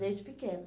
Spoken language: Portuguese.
Desde pequena.